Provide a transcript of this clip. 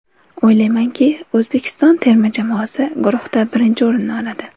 O‘ylaymanki, O‘zbekiston terma jamoasi guruhda birinchi o‘rinni oladi.